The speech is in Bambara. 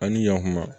An ni yan kuma